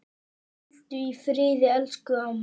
Hvíldu í friði elsku amma.